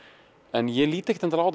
en ég lít ekkert endilega